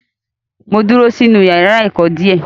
Mo dúró sínú yàrá ẹ̀kọ́ dè ẹ́.